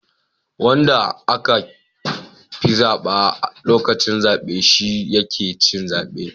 Wanda aka fi zaba a lokacin zabe shi yake cin zaben